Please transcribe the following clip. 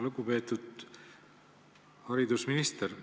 Lugupeetud haridusminister!